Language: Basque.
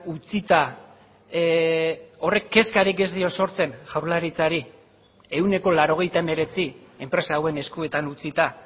utzita horrek kezkarik ez dio sortzen jaurlaritzari ehuneko laurogeita hemeretzi enpresa hauen eskuetan utzita